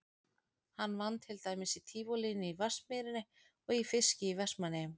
Hann vann til dæmis í Tívolíinu í Vatnsmýrinni og í fiski í Vestmannaeyjum.